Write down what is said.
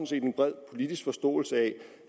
set en bred politisk forståelse af